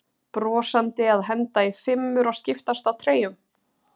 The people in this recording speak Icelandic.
Brosandi að henda í fimmur og skiptast á treyjum?